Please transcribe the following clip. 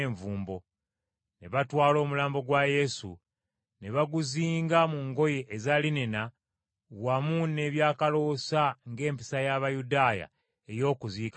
Ne batwala omulambo gwa Yesu, ne baguzinga mu ngoye eza linena wamu n’ebyakaloosa ng’empisa y’Abayudaaya ey’okuziika bwe yali.